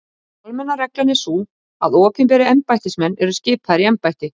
Almenna reglan er sú að opinberir embættismenn eru skipaðir í embætti.